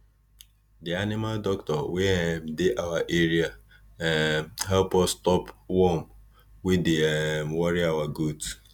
the animal doctor wey um dey our area um help us stop worm wey dey um worry our goat